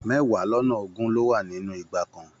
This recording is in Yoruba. Mẹwa lọnà ogún ló wà nínú igba kan.